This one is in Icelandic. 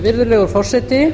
virðulegur forseti